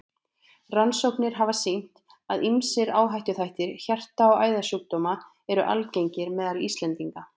Rannsóknir hafa sýnt, að ýmsir áhættuþættir hjarta- og æðasjúkdóma eru algengir meðal Íslendinga.